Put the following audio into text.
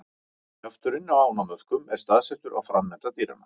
Kjafturinn á ánamöðkum er staðsettur á framenda dýranna.